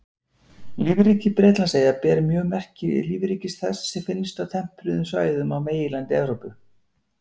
Lífríki Bretlandseyja ber mjög merki lífríkis þess sem finnst á tempruðum svæðum á meginlandi Evrópu.